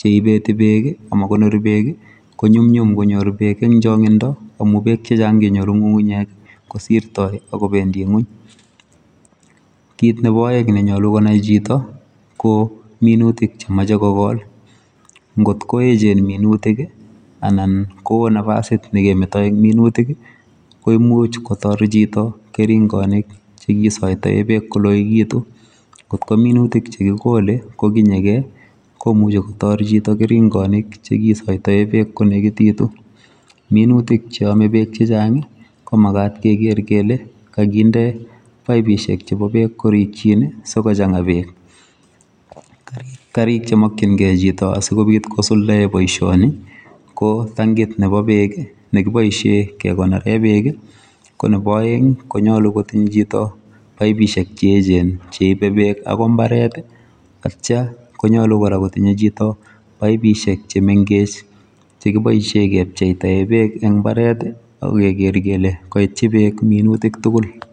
cheibeti peek, amakonori peek, konyumnyum konyoor peek ing' chang'indo amu peek chechang' kenyoru ng'ung'unyek kosirtoi akobendi ng'wuny. Kiit nebo aeng' nenyolu konai chito, ko minutik chemeche kogool ngotko echeen minutik anan koo nafasit nekemetoi ing' minutik, koimuch kotor chito keringonik chegisaitae peek koloekitu kotko minutik chekigoole kotinyegei koimuchu kotoor chito keringonik chegisaitae peek konegititu. Minutik cheame peek chechang' komagaat kegeer kele kaginde paipishek chebo peek koriikchiin sikochang'a peek. chemeche chito asikobiit kosuldagei boisioni ko tangit nebo peek nekiboisie kekonore peek ko nebo aeng' konyolu kotil chito paipishek che echeen cheibe peek akoi mbaret atcha konyolu kora kotinye chito paipishek chemengech chekiboisie kepcheitaegei peek ing' mbaret akegeer kele kaitchi peek minutik tugul